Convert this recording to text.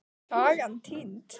Sagan týnd.